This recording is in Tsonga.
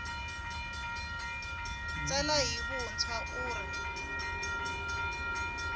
tsala hi vuntshwa u ri